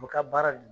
U bɛ ka baara dun